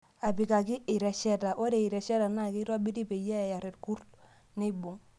Apikakii iresheta; Ore iresheta naa keitobiri peyie eyar irkurt neibung.